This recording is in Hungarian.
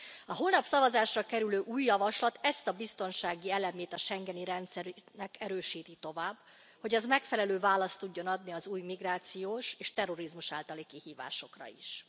A holnap szavazásra kerülő új javaslat ezt a biztonsági elemét a schengeni rendszernek erősíti tovább, hogy az megfelelő választ tudjon adni az új migrációs és terrorizmus általi kihívásokra is.